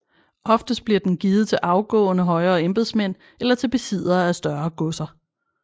Oftest bliver den givet til afgåede højere embedsmænd eller til besiddere af større godser